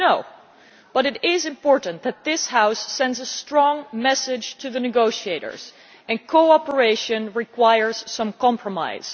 No, but it is important that this House sends a strong message to the negotiators, and cooperation requires some compromise.